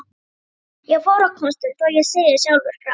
Ég fór á kostum, þó ég segi sjálfur frá.